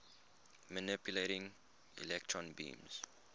manipulating electron beams